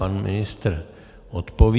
Pan ministr odpoví.